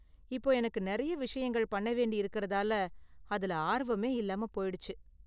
இப்போ, எனக்கு நிறைய விஷயங்கள் பண்ண வேண்டி இருக்குறதால, அதுல ஆர்வமே இல்லாம போயிடுச்சு.